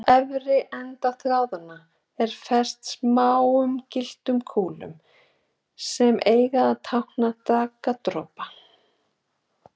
Á efri enda þráðanna er fest smáum gylltum kúlum, sem eiga að tákna daggardropa.